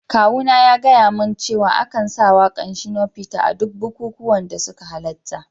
Kawuna ya gaya min cewa a kan sa waka'n Shino Peter a duk bikukuwanda suka halatta.